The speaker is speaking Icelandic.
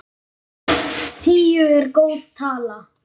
Tíu er góð tala.